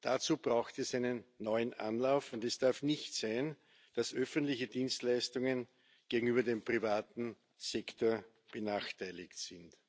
Dazu braucht es einen neuen Anlauf, und es darf nicht sein, dass öffentliche Dienstleistungen gegenüber dem privaten Sektor benachteiligt sind.